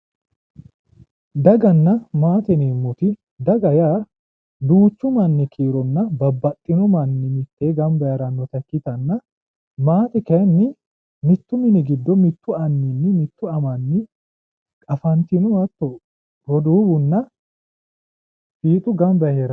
daganna maate yineemmoti daga yaa duuchu manni kiironna babbaxino manni mittee gamba yee heerannota ikkitanna maate kayiinnni mittu mini giddo mittu anninni mitte amanni afantino hatto roduuwunna fiixu gamba yee heeranno.